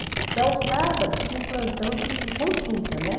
Então, aos sábados, tinha um plantão de consulta, né?